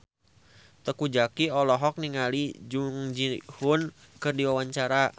Teuku Zacky olohok ningali Jung Ji Hoon keur diwawancara